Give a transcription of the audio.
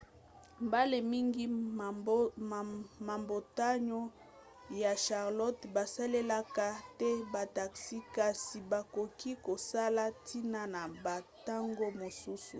mbala mingi mabota ya charlotte basalelaka te bataxi kasi bakoki kozala ntina na bantango mosusu